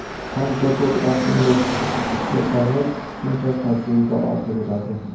Qancha ko‘p rasmga tushirsangiz shuncha tajriba ortaveradi.